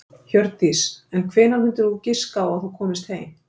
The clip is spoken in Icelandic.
Hjördís: En hvenær mundir þú giska á að þú komist heim?